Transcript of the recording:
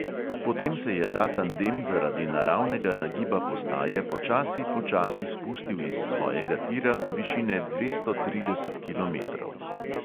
Potem se je ta tandem zaradi naravnega nagiba postaje počasi, počasi spustil iz svojega tira do višine dvesto trideset kilometrov.